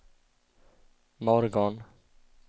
morgon